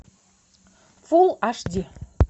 фулл аш ди